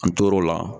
An tor'o la